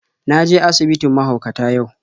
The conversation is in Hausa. Na je asibitin mahaukata yau.